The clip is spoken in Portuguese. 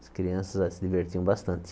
As crianças se divertiam bastante.